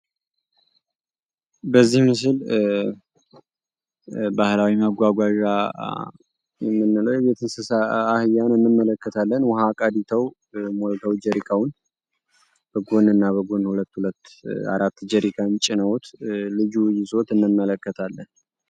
በዚህ ምስል ባህላዊ መጓጓዣ የሆነው የቤት እንስሳ አህያን እንመለከታለን ውሀ በጀሪካ በጎንና በጎን ሁለት አራት ጀሪካን ጭኖት ልዩነት እንመለከታለን።